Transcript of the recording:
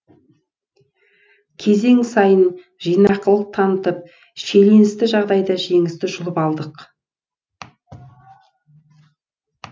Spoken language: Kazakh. кезең сайын жинақылық танытып шиеленісті жағдайда жеңісті жұлып алдық